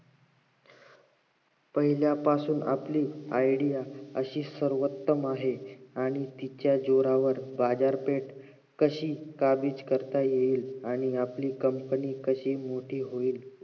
पहिल्या पासून आपली idea अशी सर्वोत्तम आहे आणि तिच्या जोरावर बाजारपेठ कशी काबीज करता येईल आणि आपली कप्लना कशी होईल